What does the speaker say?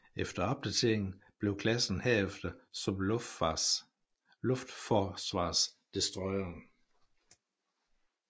Efter opdateringen blev klassen herefter som luftforsvarsdestroyere